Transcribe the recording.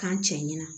K'an cɛ ɲɛna